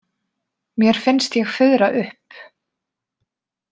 Mér finnst ég fuðra upp.